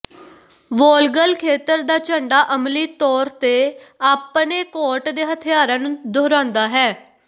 ਵੋਲਗਲ ਖੇਤਰ ਦਾ ਝੰਡਾ ਅਮਲੀ ਤੌਰ ਤੇ ਆਪਣੇ ਕੋਟ ਦੇ ਹਥਿਆਰਾਂ ਨੂੰ ਦੁਹਰਾਉਂਦਾ ਹੈ